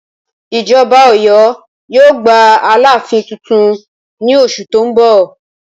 Ìjọba Ọ̀yọ́ yóò gba alááfín tuntun ní oṣù tó ń bọ̀